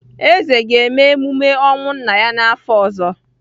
Eze ga-eme emume ọnwụ nna ya n’afọ ọzọ.